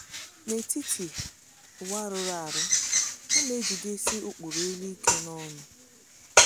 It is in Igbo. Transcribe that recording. N’etiti ụwa rụrụ arụ, ha na-ejidesi ụkpụrụ elu ike n’ọṅụ.